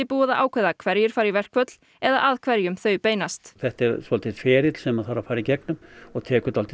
búið að ákveða hverjir fara í verkföll eða að hverjum þau beinast þetta er svolítill ferill sem þarf að fara í gegnum og tekur